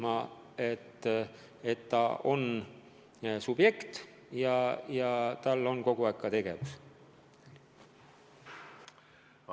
Ta peab tundma, et ta on subjekt ja tal peab kogu aeg tegevust olema.